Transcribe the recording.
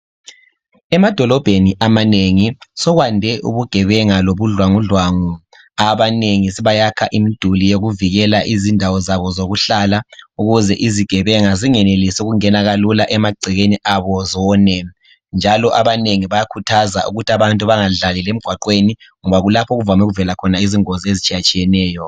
Emadolobheni amanengi sekwande ubugebenga lobudlwangudlwangu abanengi sebayakha imiduli yokuvikela izindawo zabo zokuhlala ukuze izigebenga zingenelisi ukungena kalula emagcekeni abo zone njalo abanengi bayakhuthaza ukuthi abantu bengadlalela emigwaqweni ngoba kulapho okuvame ukuvela izingozi ezitshiyetshiyeneyo.